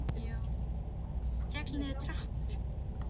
Féll niður tröppur